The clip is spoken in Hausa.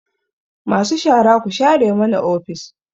Cleaners, tidy up the office